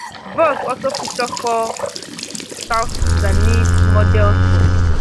vogue also feature four south sudanese models for